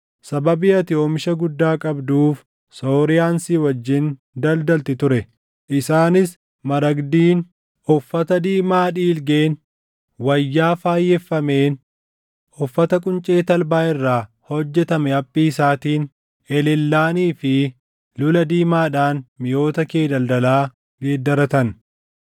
“ ‘Sababii ati oomisha guddaa qabduuf Sooriyaan si wajjin daldalti ture; isaanis maragdiin, uffata diimaa dhiilgeen, wayyaa faayeffameen, uffata quncee talbaa irraa hojjetame haphii isaatiin, elellaanii fi lula diimaadhaan miʼoota kee daldalaa geeddaratan.